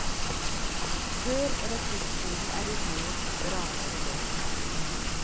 Før rekruttskolen er unnagjort, braker det løs.